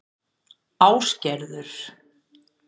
Ásgerður